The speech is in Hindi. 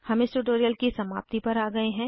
हम इस ट्यूटोरियल की समाप्ति पर आ गए हैं